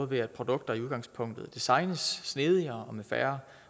ved at produkter i udgangspunktet designes snedigere og med færre